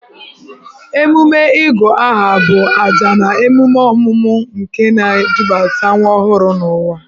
Emume Ịgụ aha bụ ajà na emume ọmụmụ nke na-edubata nwa ọhụrụ n'ụwa.